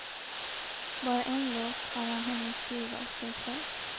Bara en låt har han hunnit skriva åt sig själv.